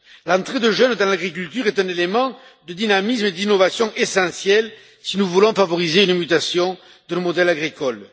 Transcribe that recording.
L'entrée de jeunes dans l'agriculture est un élément de dynamisme et d'innovation essentiel si nous voulons favoriser une mutation de nos modèles agricoles.